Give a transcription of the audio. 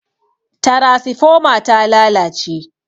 tarasifoma ta lalace